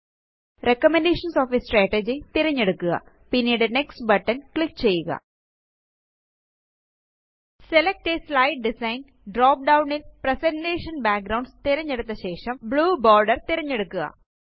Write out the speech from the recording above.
recommendation of a strategy തിരഞ്ഞെടുക്കുക പിന്നീട് next button click ചെയ്യുക select a slide design drop down ല് presentation backgrounds തിരഞ്ഞെടുത്ത ശേഷം ബ്ലൂ ബോർഡർ തിരഞ്ഞെടുക്കുക